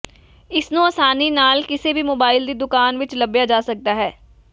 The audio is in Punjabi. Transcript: ਇਸ ਨੂੰ ਆਸਾਨੀ ਨਾਲ ਕਿਸੇ ਵੀ ਮੋਬਾਈਲ ਦੀ ਦੁਕਾਨ ਵਿੱਚ ਲੱਭਿਆ ਜਾ ਸਕਦਾ ਹੈ